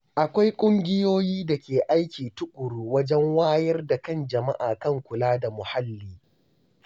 Akwai ƙungiyoyi da ke aiki tuƙuru wajen wayar da kan jama’a kan kula da muhalli.